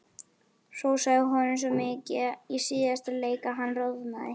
Hrósaði honum svo mikið í síðasta leik að hann roðnaði.